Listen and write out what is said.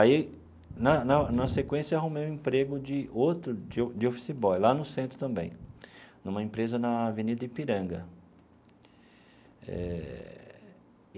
Aí, na na na sequência, arrumei um emprego de outro, de de office boy, lá no centro também, numa empresa na Avenida Ipiranga eh.